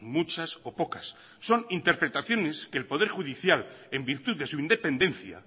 muchas o pocas son interpretaciones que el poder judicial en virtud de su independencia